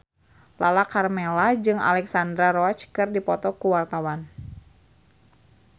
Lala Karmela jeung Alexandra Roach keur dipoto ku wartawan